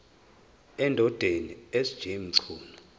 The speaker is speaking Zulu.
endodeni sj mchunu